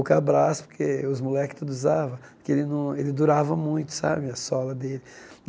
O, porque os moleques tudo usava, porque ele não ele durava muito sabe a sola dele.